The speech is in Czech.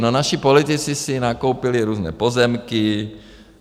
No, naši politici si nakoupili různé pozemky.